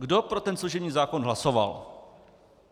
Kdo pro ten služební zákon hlasoval?